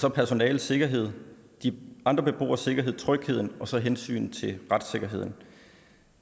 er personalets sikkerhed de andre beboeres sikkerhed trygheden og så hensynet til retssikkerheden